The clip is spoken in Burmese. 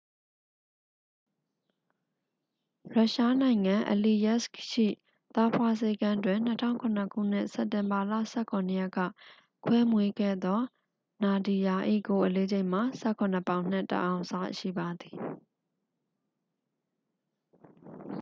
ရုရှားနိုင်ငံ အလီယက်စ်ခ် ရှိ သားဖွားဆေးခန်းတွင် 2007 ခုနှစ် စက်တင်ဘာလ 17 ရက်က ခွဲမွေးခဲ့သော နာဒီယာ ၏ကိုယ်အလေးချိန်မှာ 17 ပေါင်နှင့် 1 အောင်စရှိပါသည်